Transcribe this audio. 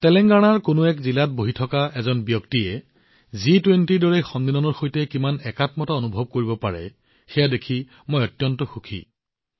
তেলেংগানা জিলাৰ এখন জিলাত বহি থকা এজন ব্যক্তিয়েও জি২০ৰ দৰে সন্মিলনৰ সৈতে কিমান সম্পৰ্কিত অনুভৱ কৰিব পাৰে সেয়া দেখি মই অত্যন্ত সুখী হৈছোঁ